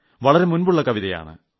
വളരെ മുമ്പുളള കവിതയാണ്